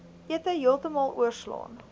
ete heeltemal oorslaan